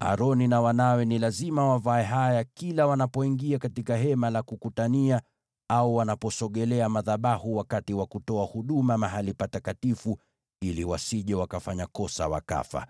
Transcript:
Aroni na wanawe ni lazima wavae haya kila wanapoingia katika Hema la Kukutania au wanaposogelea madhabahu wakati wa kutoa huduma katika Mahali Patakatifu, ili wasije wakafanya kosa wakafa.